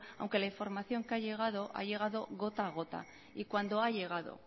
aunque la información que ha llegado ha llegado gota a gota y cuando ha llegado